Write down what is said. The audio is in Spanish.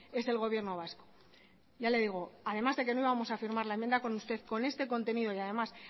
es el gobierno vasco ya le digo además de que no vamos a firmar la enmienda con usted con este contenido y además